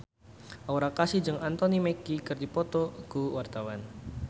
Aura Kasih jeung Anthony Mackie keur dipoto ku wartawan